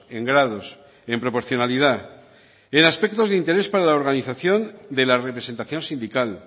en grados en proporcionalidad en aspectos de interés para la organización de la representación sindical